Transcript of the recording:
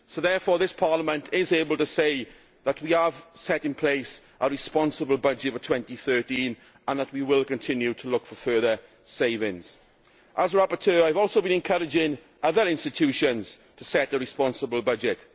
ago. Therefore, this Parliament is able to say that we have set in place a responsible budget for 2013 and that we will continue to look for further savings. As rapporteur, I have also been encouraging other institutions to set a responsible budget.